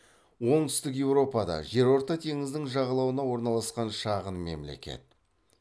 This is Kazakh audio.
оңтүстік еуропада жерорта теңізінің жағалауына орналасқан шағын мемлекет